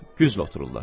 Güzlü otururlar.